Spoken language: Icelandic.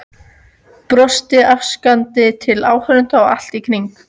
Brosti afsakandi til áhorfenda allt í kring.